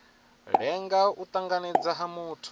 lenga u tanganedzwa ha muthu